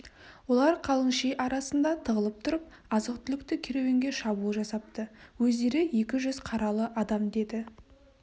олар қалың ши арасында тығылып тұрып азық-түлікті керуенге шабуыл жасапты өздері екі жүз қаралы адам деді